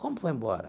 Como foi embora?